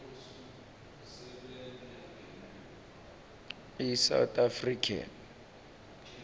i south african